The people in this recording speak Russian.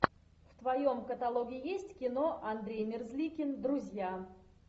в твоем каталоге есть кино андрей мерзликин друзья